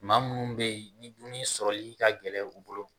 Maa minnu bɛyi ni dumuni sɔrɔli ka gɛlɛ u bolo.